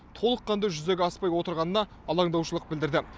толыққанды жүзеге аспай отырғанына алаңдаушылық білдірді